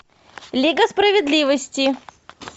лига справедливости